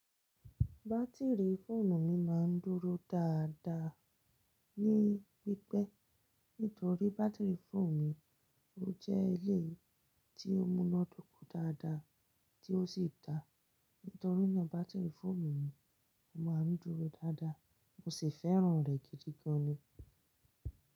Bátìrì fóònù mi máa ń dúró dáadáa ní pípẹ́ nítorí bátìrì fóònù mi ó jẹ́ èléyìí tí ó múná dóko dáadáa tí ó sì dá. Nítorí náà bátìrì fóònù mi máa ń dúró dáadáa, mo sì fẹ́ràn rẹ̀ gidi gan ni.